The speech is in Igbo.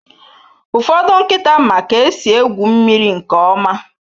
Ụfọdụ nkịta ma ka esi egwu mmiri nke ọma